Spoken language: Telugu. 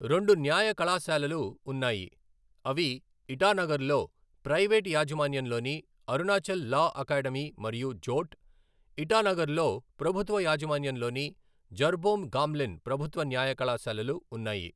రెండు న్యాయ కళాశాలలు ఉన్నాయి, అవి ఇటానగర్లో ప్రైవేట్ యాజమాన్యంలోని అరుణాచల్ లా అకాడమీ మరియు జోట్, ఇటానగర్లో ప్రభుత్వ యాజమాన్యంలోని జర్బోమ్ గామ్లిన్ ప్రభుత్వ న్యాయ కళాశాలలు ఉన్నాయి.